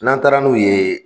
N'an taara n'u ye